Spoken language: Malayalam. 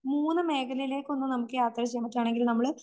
മൂന്ന് മേഖലയിലേക്കൊന്ന് നമുക്ക് യാത്ര ചെയ്തിട്ടാണെങ്കില് നമ്മള്